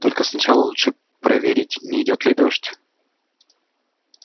только сначала лучше проверить не идёт ли дождь